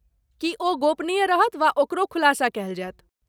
की ओ गोपनीय रहत वा ओकरो खुलासा कयल जायत?